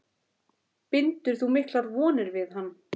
Bindur þú miklar vonir við hann?